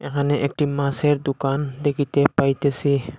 এখানে একটি মাছের দুকান দেখিতে পাইতেসি।